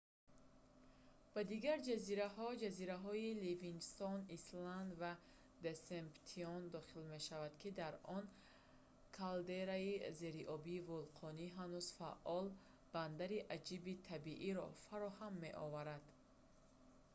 ба дигар ҷазираҳо ҷазираҳои livingston island ва deception дохил мешаванд ки дар он калдераи зериобии вулқони ҳанӯз фаъол бандари аҷиби табииро фароҳам меоварад